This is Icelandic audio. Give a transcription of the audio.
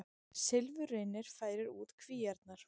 Silfurreynir færir út kvíarnar